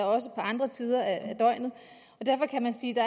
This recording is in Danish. også på andre tider af døgnet derfor kan man sige